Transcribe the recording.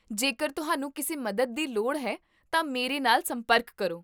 ਜੇਕਰ ਤੁਹਾਨੂੰ ਕਿਸੇ ਮਦਦ ਦੀ ਲੋੜ ਹੈ ਤਾਂ ਮੇਰੇ ਨਾਲ ਸੰਪਰਕ ਕਰੋ